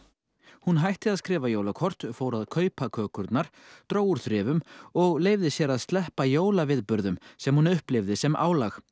hún hætti að skrifa jólakort fór að kaupa kökurnar dró úr þrifum og leyfði sér að sleppa sem hún upplifði sem álag